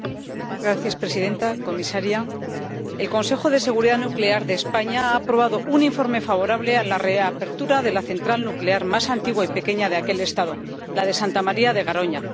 Señora presidenta, comisaria, el Consejo de Seguridad Nuclear de España ha aprobado un informe favorable a la reapertura de la central nuclear más antigua y pequeña de dicho Estado, la de Santa María de Garoña.